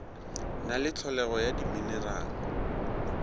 na le tlholego ya diminerale